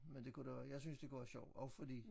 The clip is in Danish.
Men det kunne da være jeg synes det kunne være sjovt også fordi